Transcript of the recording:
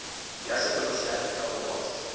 ya sepodisi ya aforika borwa